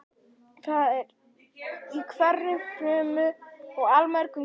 Það er í hverri frumu og allmörgum kveikjum.